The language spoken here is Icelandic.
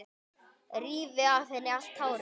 Rífi af henni allt hárið.